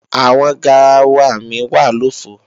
Àwọn garawa mi wà lòfo